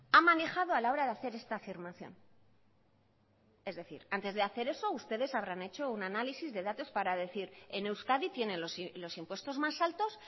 ha manejado a la hora de hacer esta afirmación es decir antes de hacer eso ustedes habrán hecho un análisis de datos para decir en euskadi tienen los impuestos más altos